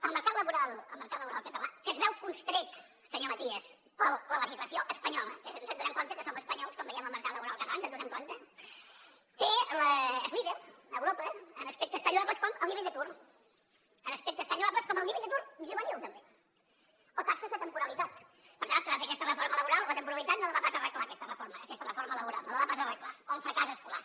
el mercat laboral català que es veu constret senyor matías per la legislació espanyola que ens adonem que som espanyols quan veiem el mercat laboral català ens n’adonem és líder a europa en aspectes tan lloables com el nivell d’atur en aspectes tan lloables com el nivell d’atur juvenil també o taxes de temporalitat per tant els que van fer aquesta reforma laboral la temporalitat no la van pas arreglar aquesta reforma laboral no la va pas arreglar o en fracàs escolar